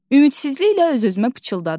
Ümidsizliklə öz-özümə pıçıldadım.